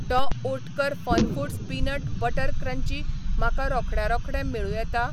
Dr. Oetker FunFoods peanut butter crunchy म्हाका रोखड्या रोखडें मेळूं येता?